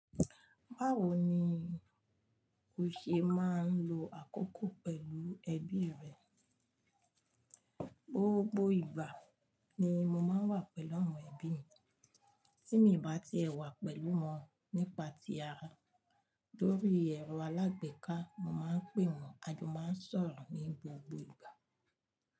Báwo ni o ṣe máa ń lo àkókò pẹ̀lú ẹbí rẹ? Gbogbo ìgbà ni mo máa ń wà pẹ̀lú awon ẹbí mi. Tí mo bá ti wà pẹ̀lú wọn nípa ti ara lórí ẹ̀rọ alágbèéká, mo máa ń pè wọ́n a máa sọ̀rọ̀ ní gbogbo ìgbà.